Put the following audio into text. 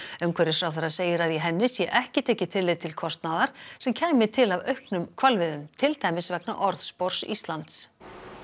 umhverfisráðherra segir að í henni sé ekki tekið tillit til kostnaðar sem kæmi til af auknum hvalveiðum til dæmis vegna orðspors Íslands